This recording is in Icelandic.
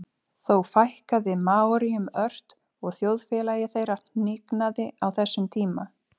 þó fækkaði maóríum ört og þjóðfélagi þeirra hnignaði á þessum tíma